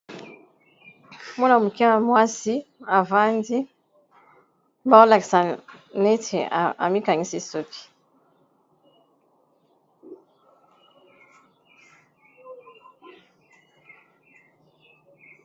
Mwana moke ya mwasi avandi bao lakisa neti amikangisi suki.